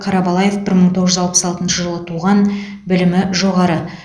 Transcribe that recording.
қарабалаев бір мың тоғыз жүз алпыс алтыншы жылы туған білімі жоғары